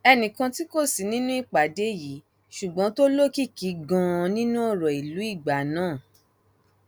ẹnì kan tí kò sí nínú ìpàdé yìí ṣùgbọn tó lókìkí ganan nínú ọrọ ìlú ìgbà náà h